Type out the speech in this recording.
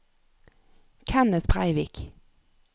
Kenneth Breivik